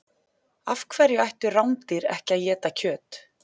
Af hverju ættu rándýr ekki að éta kjöt?